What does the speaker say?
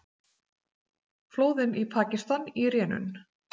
Flóðin í Pakistan í rénun